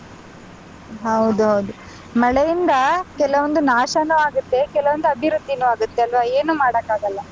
ಹೌದು ಹೌದು ಮಳೆಯಿಂದ ಕೆಲವೊಂದು ನಾಶನು ಆಗುತ್ತೆ ಕೆಲವೊಂದು ಅಭಿವೃದ್ದಿನು ಆಗುತ್ತೆ ಅಲ್ವಾ ಏನು ಮಾಡೋಕ್ಕಾಗಲ್ಲ.